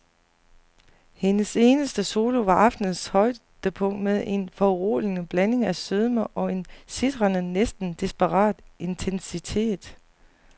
Hendes eneste solo var aftenens højdepunkt med en foruroligende blanding af sødme og en sitrende, næsten desperat intensitet.